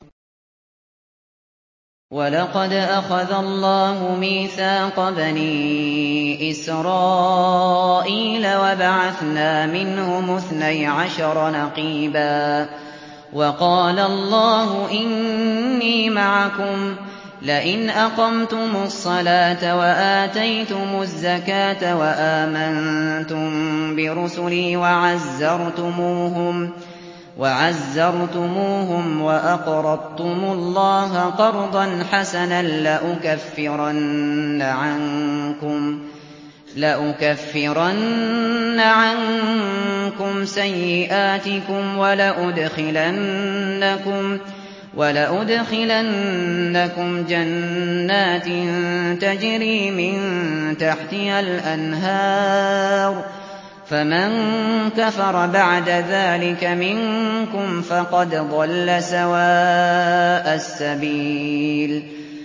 ۞ وَلَقَدْ أَخَذَ اللَّهُ مِيثَاقَ بَنِي إِسْرَائِيلَ وَبَعَثْنَا مِنْهُمُ اثْنَيْ عَشَرَ نَقِيبًا ۖ وَقَالَ اللَّهُ إِنِّي مَعَكُمْ ۖ لَئِنْ أَقَمْتُمُ الصَّلَاةَ وَآتَيْتُمُ الزَّكَاةَ وَآمَنتُم بِرُسُلِي وَعَزَّرْتُمُوهُمْ وَأَقْرَضْتُمُ اللَّهَ قَرْضًا حَسَنًا لَّأُكَفِّرَنَّ عَنكُمْ سَيِّئَاتِكُمْ وَلَأُدْخِلَنَّكُمْ جَنَّاتٍ تَجْرِي مِن تَحْتِهَا الْأَنْهَارُ ۚ فَمَن كَفَرَ بَعْدَ ذَٰلِكَ مِنكُمْ فَقَدْ ضَلَّ سَوَاءَ السَّبِيلِ